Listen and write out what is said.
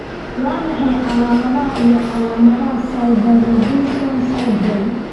Waa maxay calaamadaha iyo calaamadaha Snyder Robinson syndrome?